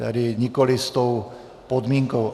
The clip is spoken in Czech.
Tedy nikoliv s tou podmínkou.